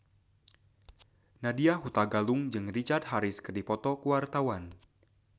Nadya Hutagalung jeung Richard Harris keur dipoto ku wartawan